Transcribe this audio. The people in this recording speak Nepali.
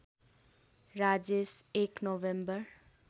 राजेश १ नोभेम्बर